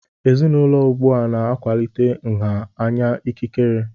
Ezinaụlọ ugbu a na-akwalite nha anya ikikere.